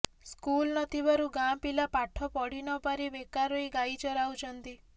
school ନଥିବାରୁ ଗାଁ ପିଲା ପାଠ ପଢିନପାରି ବେକାର ହୋଇ ଗାଇ ଚରାଉଛନ୍ତି